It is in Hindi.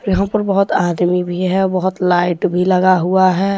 यहां पर बहुत आदमी भी हैं बहुत लाइट लगा हुआ हैं।